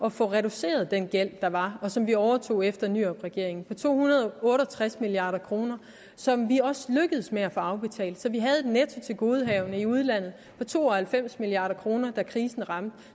at få reduceret den gæld der var og som vi overtog efter nyrupregeringen på to hundrede og otte og tres milliard kr som vi også lykkedes med at få afbetalt så vi havde et nettotilgodehavende i udlandet på to og halvfems milliard kr da krisen ramte